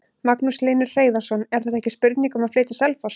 Magnús Hlynur Hreiðarsson: Er þetta ekki spurning um að flytja á Selfoss?